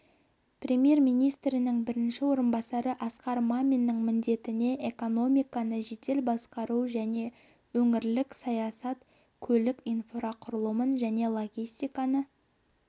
премьер-министрінің бірінші орынбасары асқар маминның міндеттеріне экономиканы жедел басқару және өңірлік саясат көлік инфрақұрылымын және логистиканы